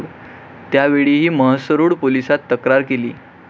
त्यावेळीही म्हसरूळ पोलिसात तक्रार केली.